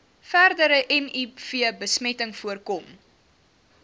verdere mivbesmetting voorkom